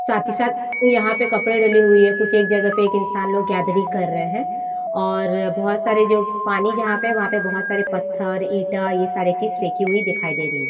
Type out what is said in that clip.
साथ ही साथ यहाँ पर कपड़े डली हुई है कुछ एक जगह पर एक इंसान लोग गैथरिंग कर रहे हैं और बहुत सारे जो पानी जहाँ पर हैं वहाँ पे बहुत सारे पत्थर ईटा ये सारी चीज फेकी हुई दिखाई दे रही हैं।